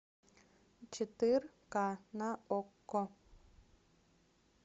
четыре ка на окко